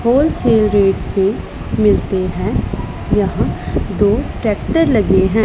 Wholesale rate से मिलते हैं यहां दो ट्रैक्टर लगे हैं।